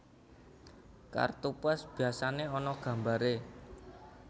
Kartu pos biyasané ana gambaré